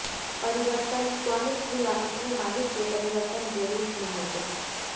परिवर्तन स्वामित्व या अपने मालिक के परिवर्तन के रूप में होते